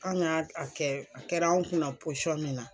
An ka a kɛ a kɛra anw kunna posɔn min na.